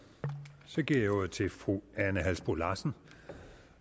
så giver jeg ordet til fru ane halsboe larsen